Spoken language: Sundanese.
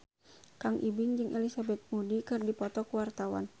Kang Ibing jeung Elizabeth Moody keur dipoto ku wartawan